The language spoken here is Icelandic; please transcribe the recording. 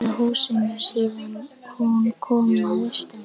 Rauða húsinu síðan hún kom að austan.